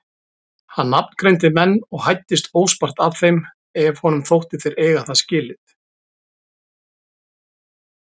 Hann nafngreindi menn og hæddist óspart að þeim ef honum þótti þeir eiga það skilið.